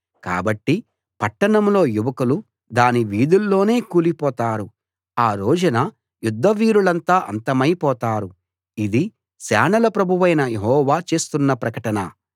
కాబట్టి పట్టణంలో యువకులు దాని వీధుల్లోనే కూలిపోతారు ఆ రోజున యుద్ధవీరులంతా అంతమై పోతారు ఇది సేనల ప్రభువైన యెహోవా చేస్తున్న ప్రకటన